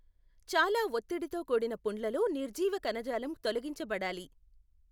చాలా ఒత్తిడితో కూడిన పుండ్లలో నిర్జీవ కణజాలం తొలగించబడాలి.